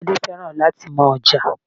Tade feran lati maa ja.